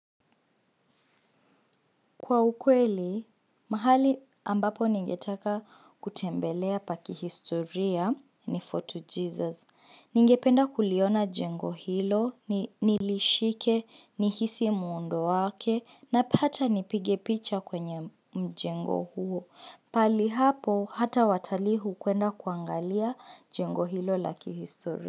Kwa ukweli, mahali ambapo ningetaka kutembelea pa kihistoria ni Fort Jesus. Ningependa kuliona jengo hilo, nilishike, nihisi muundo wake, napata nipige picha kwenye mjengo huo. Pahali hapo hata watalii hukwenda kuangalia jengo hilo la kihistoria.